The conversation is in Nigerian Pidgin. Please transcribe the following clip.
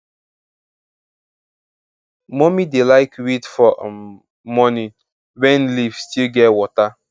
mummy dey like weed for um morning when leaf still get wota